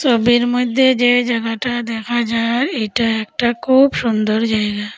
ছবির মইধ্যে যে জাগাটা দেখা যায় এটা একটা খুব সুন্দর জায়গা।